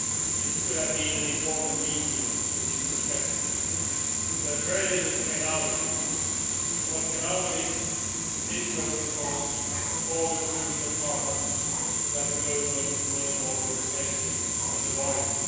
It could have been an important meeting in this perspective, but very little came out of it. And what came out of it did so because all the crucial problems that the global world order is facing were avoided.